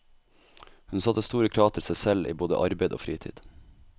Hun satte store krav til seg selv i både arbeid og fritid.